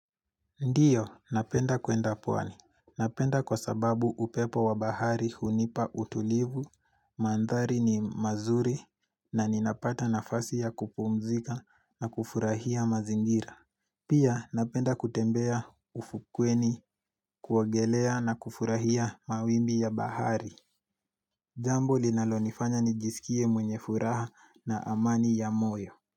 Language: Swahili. Ndio, napenda kwenda pwani. Napenda kwa sababu upepo wa bahari hunipa utulivu, mandhari ni mazuri na ninapata nafasi ya kupumzika na kufurahia mazingira. Pia, napenda kutembea ufukweni kuogelea na kufurahia mawimbi ya bahari. Jambo linalonifanya nijisikie mwenye furaha na amani ya moyo.